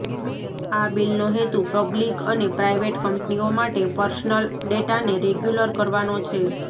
આ બિલનો હેતુ પબ્લિક અને પ્રાઈવેટ કંપનીઓ માટે પર્સનલ ડેટાને રેગ્યુલર કરવાનો છે